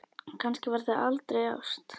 Kannski var það aldrei ást?